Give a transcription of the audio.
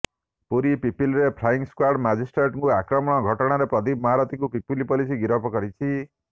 ପୁରୀ ପିପିଲିରେ flying squad ମାଜିଷ୍ଟ୍ରେଟଙ୍କୁ ଆକ୍ରମଣ ଘଟଣାରେ ପ୍ରଦୀପ ମହାରଥୀଙ୍କୁ ପିପିଲି ପୋଲିସ ଗିରଫ କରିଛି